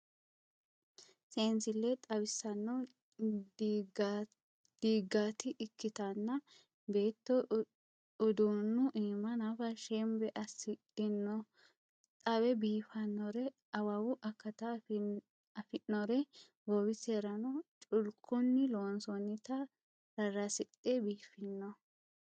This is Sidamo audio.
Seensile xawisano diigati ikkittanna beetto uduunu iima nafa shembe assidhino xawe biifanore awawu akata afi'nore goowiserano culkunni loonsonnitta rarasidhe biifino